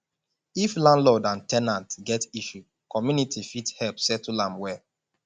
if landlord and ten ant get issue community fit help settle am well